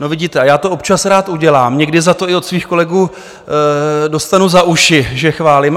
No vidíte, a já to občas rád udělám, někdy za to i od svých kolegů dostanu za uši, že chválím.